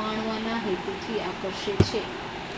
માણવાના હેતુથી આકર્ષે છે